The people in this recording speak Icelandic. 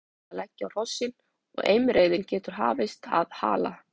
Um miðmunda er búið að leggja á hrossin og heimreiðin getur hafist að Hala.